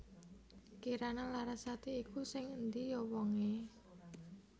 Kirana Larasati iku sing endi yo wong e?